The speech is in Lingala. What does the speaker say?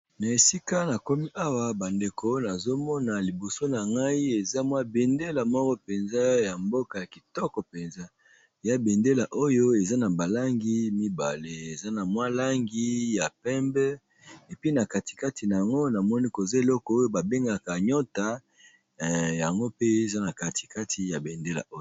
Na esika nakomi awa ba ndeko nazomona liboso na ngai eza mwa be ndela moko penza ya mboka ya kitoko penza, ya be ndela oyo eza na ba langi mibale eza na mwa langi ya pembe epi na kati kati na yango namoni koza eloko oyo ba bengaka nyota yango pe eza na kati kati ya bendela oyo.